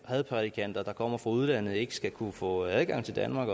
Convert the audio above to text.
hadprædikanter der kommer fra udlandet ikke skal kunne få adgang til danmark